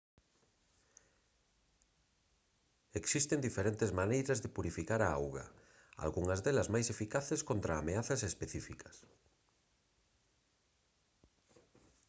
existen diferentes maneiras de purificar a auga algunhas delas máis eficaces contra ameazas específicas